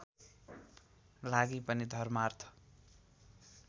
लागि पनि धर्मार्थ